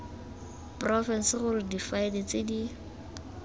porofense gore difaele tse di